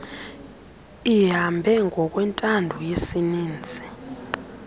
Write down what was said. lihambe ngokwentando yesininzi